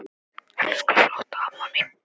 Elsku flotta amma mín.